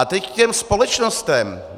A teď k těm společnostem.